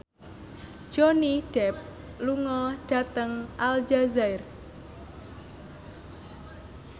Johnny Depp lunga dhateng Aljazair